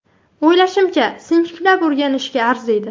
O‘ylashimcha, sinchiklab o‘rganishga arziydi.